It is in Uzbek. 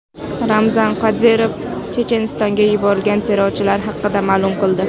Ramzan Qodirov Chechenistonga yuborilgan terrorchilar haqida ma’lum qildi.